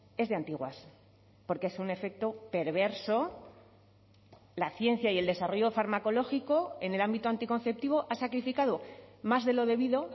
es de antiguas porque es un efecto perverso la ciencia y el desarrollo farmacológico en el ámbito anticonceptivo ha sacrificado más de lo debido